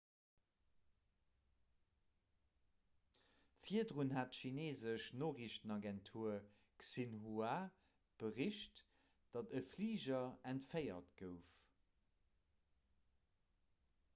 virdrun hat d'chineesesch noriichtenagentur xinhua bericht datt e fliger entféiert gouf